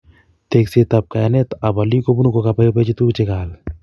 Tekset ab kayanetab olik kobunu kokabaibachi tukuk chekaal